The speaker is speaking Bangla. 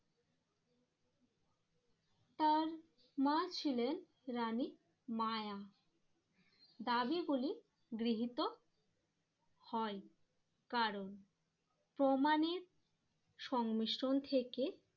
তার মা ছিলেন রানী মায়া দাবি গুলি গৃহীত হয়। কারণ প্রমাণের সংমিশ্রণ থেকে